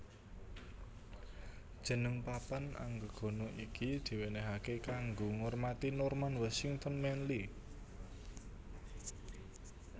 Jeneng papan anggegana iki diwenehake kanggo ngormati Norman Washington Manley